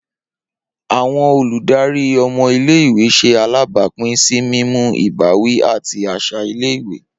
Awọn oludari ọmọ ile-iwe ṣe alabapin si mimu ibawi ati aṣa ile-iwe